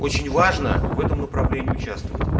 очень важно в этом направлении участвовать